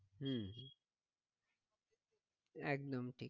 হম হম একদম ঠিক